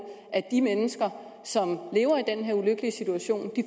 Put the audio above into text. at de mennesker som lever i den her ulykkelige situation